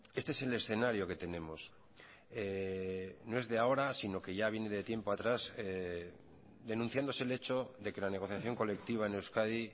este es el escenario que tenemos no es de ahora sino que ya viene de tiempo atrás denunciándose el hecho de que la negociación colectiva en euskadi